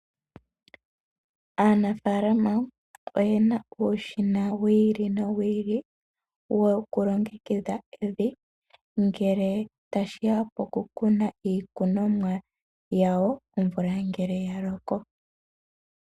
Aanafaalama oyena uushina wi ili nowi ili woku longekidha evi ngele tashiya pokukuna iikunomwa yawo omvula ngele ya loko